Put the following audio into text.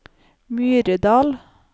Myrdal